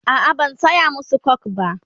a'a ban saya masu coke ba.